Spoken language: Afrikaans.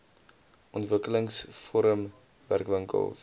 ontwikkelings forum werkwinkels